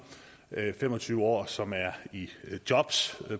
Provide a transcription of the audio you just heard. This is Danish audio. fem og tyve år som er i jobs